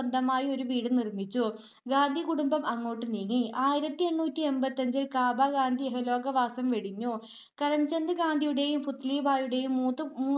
സ്വന്തമായി ഒരു വീട് നിർമിച്ചു. ഗാന്ധി കുടുംബം അങ്ങോട്ട് നീങ്ങി. ആയിരത്തിഎണ്ണൂറ്റി എൺപത്തിഅഞ്ചിൽ കാബ ഗാന്ധി ഇഹലോകവാസം വെടിഞ്ഞു. കരംചന്ദ്‌ ഗാന്ധിയുടേയും പുത്‌ലീബായിയുടേയും മൂന്നു